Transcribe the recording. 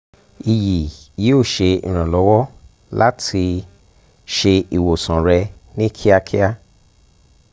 iyi yoo ṣe iranlọwọ lati um ṣe iwosan rẹ ni kiakia